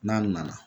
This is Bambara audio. N'a nana